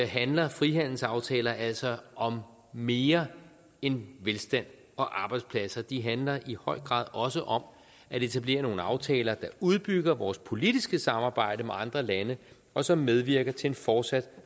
handler frihandelsaftaler altså om mere end velstand og arbejdspladser de handler i høj grad også om at etablere nogle aftaler der udbygger vores politiske samarbejde med andre lande og som medvirker til en fortsat